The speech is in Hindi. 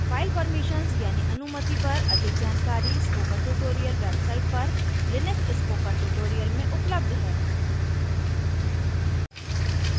file permissions यानी अनुमति पर अधिक जानकारी spoken tutorial website पर लिनक्स spoken tutorial में उपलब्ध है